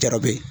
Jarabu ye